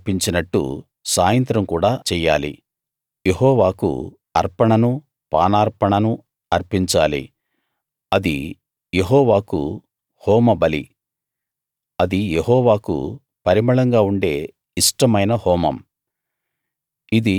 ఉదయం అర్పించినట్టు సాయంత్రం కూడా చెయ్యాలి యెహోవాకు అర్పణనూ పానార్పణనూ అర్పించాలి అది యెహోవాకు హోమబలి అది యెహోవాకు పరిమళంగా ఉండే ఇష్టమైన హోమం